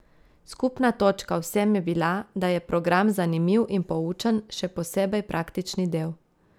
Skupna točka vsem je bila, da je program zanimiv in poučen, še posebej praktični del.